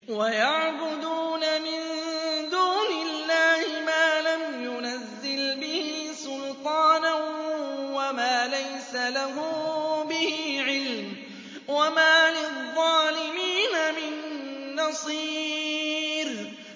وَيَعْبُدُونَ مِن دُونِ اللَّهِ مَا لَمْ يُنَزِّلْ بِهِ سُلْطَانًا وَمَا لَيْسَ لَهُم بِهِ عِلْمٌ ۗ وَمَا لِلظَّالِمِينَ مِن نَّصِيرٍ